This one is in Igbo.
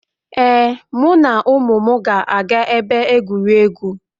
Ee, mụ na ụmụ m ga-aga ebe egwuregwu